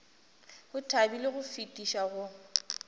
o thabile go fetiša go